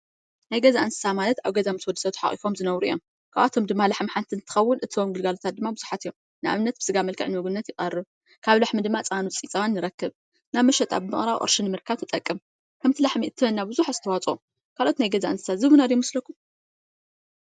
ናይ ገዛ እንስሳት ማለት ኣብ ገዛ ምስ ወዲ ሰብ ተሓቂፎም ዝነብሩ እዮም። ካብኣቶም ድማ ላሕሚ ሓንቲ እንትትከውን። እትህቦም ግልጋለታት ድማ ብዙሓት እዮም። ንኣብነት ብስጋ መልክዕ ንምግብነት ይቀርብ። ካብ ላሕሚ ድማ ፀባን ውፅኢት ፀባን ንረክብ። ናብ መሸጣ ብምቅራብ ቅርሺ ብምርካብ ትጠቅም። ሓንቲ ላሕሚ እትህበና ብዙሕ ኣስተዋፅኦ ካልኦት ናይ ገዛ እንስሳት ዝህቡና ዶ ይመስለኩም?